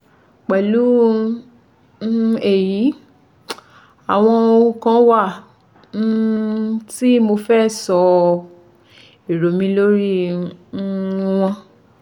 Pẹ̀lú um èyí, àwọn ohùn kan wà um tí mo fẹ́ sọ èrò mi lórí i um wọn